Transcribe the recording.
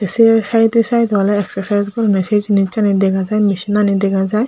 seh saide saide oley exercise gorone seh jenisani degajai machinani degajai.